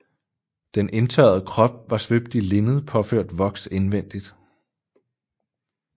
Den indtørrede krop var svøbt i linned påført voks indvendigt